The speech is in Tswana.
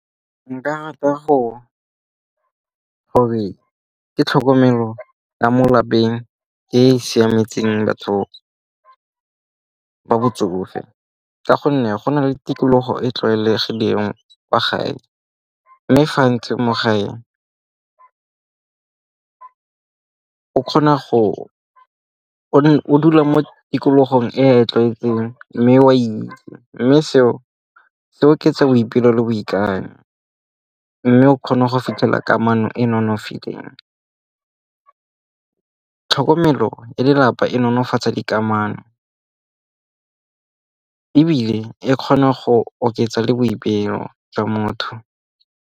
Nka rata gore ke tlhokomelo la mo lapeng e e siametseng batho ba botsofe ka gonne go na le tikologo e e tlwaelegileng kwa gae. Mme fa mo gae, kgona go, o dula mo tikologong e tlwaetseng mme o a itse. Mme seo, seo ke boipelo le boikanyo. Mme o kgona go fitlhela kamano e nonofileng. Tlhokomelo e lelapa e nonofatsa dikamano ebile e kgona go oketsa le boipelo jwa motho.